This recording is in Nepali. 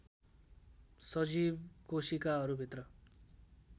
सजीव कोशिकाहरू भित्र